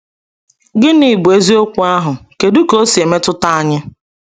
Gịnị bụ eziokwu ahụ, kedu ka ọ si emetụta anyị?